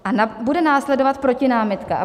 A bude následovat protinámitka.